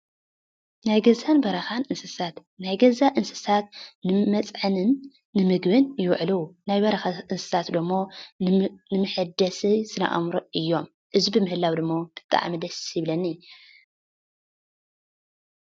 ናይ ገዛን በረኻን እንስሳት ናይ ገዛ እንስሳት ንመፅዐንን ን ምግብን ይዉዕሉ። ናይ በረኻ እንስሳት ደሞ ንመሐደሲ ስነ አእምሮ ዝዎሉ እዮም። እዚ ብምህላዉ ደሞ ብጣዕሚ ደስ ይብለኒ ።